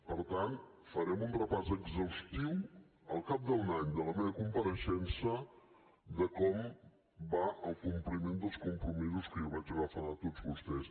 per tant farem un repàs exhaustiu al cap d’un any de la meva compareixença de com va el compliment dels compromisos que jo vaig agafar de tots vostès